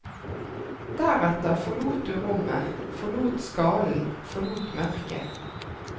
Deretter forlot du rommet, forlot skallen, forlot mørket.